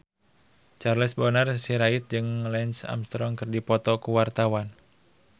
Charles Bonar Sirait jeung Lance Armstrong keur dipoto ku wartawan